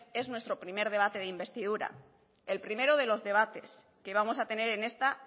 es nuestro primer debate de investidura el primero de los debates que vamos a tener en esta